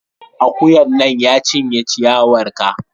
Akuyan nan, ya cinye ciyawar ka!